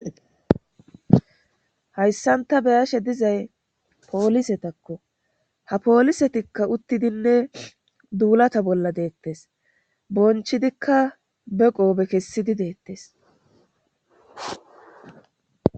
Hayssanta beyashe dizay poolisetakko ha poolisetikka uttidinne duulata bolla deettes bonchidikka beqoobe kessidi deettes.